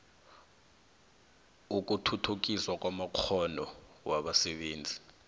ukuthuthukiswa kwamakghono wabasebenzi